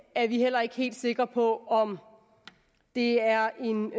er vi heller ikke helt sikre på om det er en